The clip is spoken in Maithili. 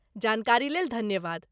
जानकारीलेल धन्यवाद।